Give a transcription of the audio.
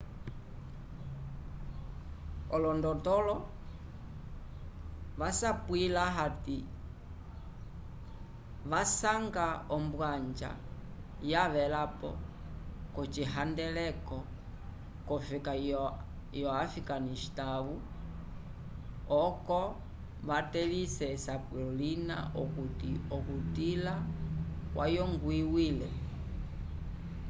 olondotolo vasapwila hati vasanga ombwanja yavelapo k'ocihandeleko c'ofeka yo-afikanistãwu oco vatelĩse esapulo lina okuti okutila kwayongwiwile